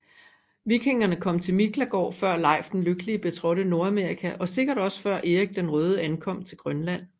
Vikingerne kom til Miklagård før Leif den Lykkelige betrådte Nordamerika og sikkert også før Erik den Røde ankom til Grønland